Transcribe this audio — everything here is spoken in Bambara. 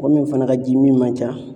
Mɔgɔ min fana ka ji min man ca